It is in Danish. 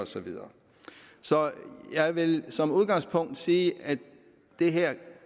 så videre så jeg vil som udgangspunkt sige at det her